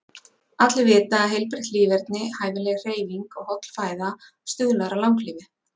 Allir vita að heilbrigt líferni, hæfileg hreyfing og holl fæða stuðlar að langlífi.